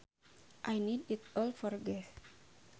I need it all for gas